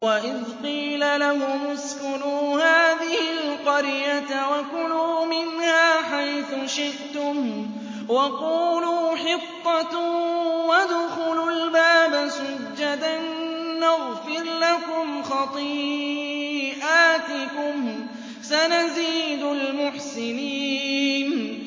وَإِذْ قِيلَ لَهُمُ اسْكُنُوا هَٰذِهِ الْقَرْيَةَ وَكُلُوا مِنْهَا حَيْثُ شِئْتُمْ وَقُولُوا حِطَّةٌ وَادْخُلُوا الْبَابَ سُجَّدًا نَّغْفِرْ لَكُمْ خَطِيئَاتِكُمْ ۚ سَنَزِيدُ الْمُحْسِنِينَ